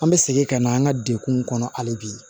An bɛ segin ka na an ka dekun kɔnɔ hali bi